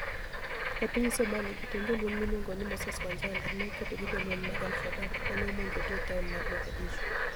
E piniy Somalia, jatend jolweniy miluonigo nii Moses Wanijala, ni e okedo gi jolweniy mag al-Shabaab ma ni e omonijogi e taoni mar Mogadishu.